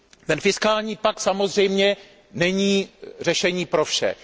Ten fiskální pakt samozřejmě není řešení pro vše.